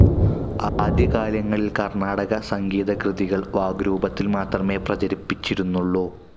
ആദ്യകാലങ്ങളിൽ കർണാടക സംഗീതകൃതികൾ വാഗ്രൂപത്തിൽ മാത്രമേ പ്രചരിചിരുന്നുള്ളൂ..